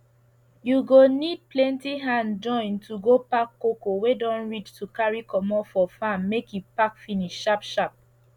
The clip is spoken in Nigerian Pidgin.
you go need plenty hand join to go pack cocoa wey don reach to carrry comot for farm make e pack finish sharp sharp